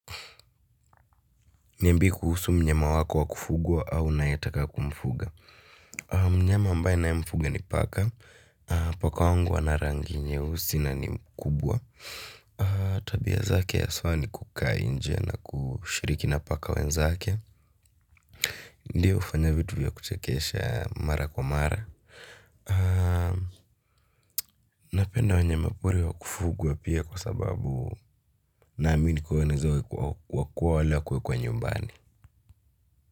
Niambie kuhusu mnyama wako wakufugwa au unayetaka kumfuga. Mnyama ambaye ninaemfuga ni paka. Paka wangu ana rangi nyeusi na ni mkubwa tabia zake haswa ni kukaa nje na kushiriki na paka wenzake. Ndiyo hufanya vitu vya kuchekesha mara kwa mara. Napenda wanyama pori wa kufugwa pia kwa sababu naamini kuwa wanaeza wa kua wale wa kuwekwa nyumbani.